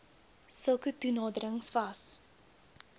sulke toenaderings was